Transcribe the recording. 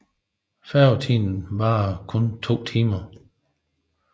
Færgetiden varede nu kun 2 timer